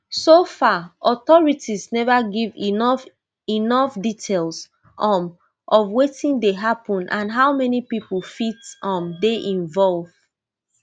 so far authorities never give enough enough details um of wetin dey happun and how many pipo fit um dey involve